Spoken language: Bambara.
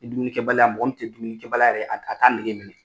Ni dumunikɛbaya, mɔgɔ mun te dumunikɛbaliya yɛrɛ a a t'a nege minɛ.